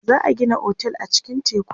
za'a Gina otel a cikin tekun